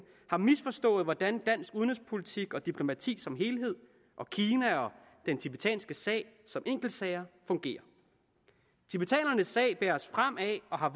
har misforstået hvordan dansk udenrigspolitik og diplomati som helhed og kina og den tibetanske sag som enkeltsager fungerer tibetanernes sag bæres frem af og har